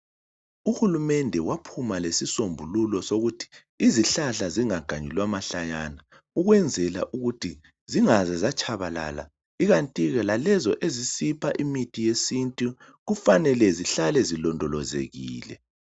Uhulumende waphuma lesisombululo sokuthi izihlahla zingaganyulwa mahlayana. Ukwenzela ukuthi zingaze zatshabalala ikanti ke lalezo ezisipha imithi yesintu kufanele zihlale zilondolozekile.